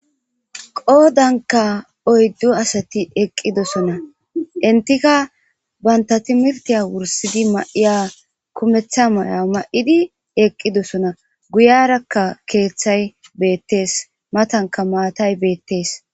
qoodanka oyddu asati eqqidosona intika banta timirtiya wursidi ma7iya kumeththa may7a ma7idi eqqidosona guyarakka keeththay beettees matanka maatay beettees